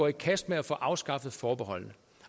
i kast med at få afskaffet forbeholdet